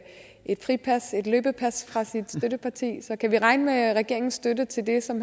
et fripas et løbepas fra sit støtteparti så kan vi regne med regeringens støtte til det som